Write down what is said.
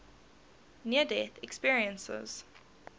near death experiences